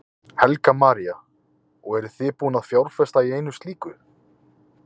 Helga María: Og eruð þið búin að fjárfesta í einu slíku?